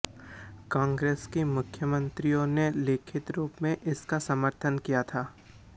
कांग्रेस के मुख्यमंत्रियों ने लिखित रूप में इसका समर्थन किया था